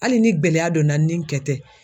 Hali ni gɛlɛya donna n ni n kɛ tɛ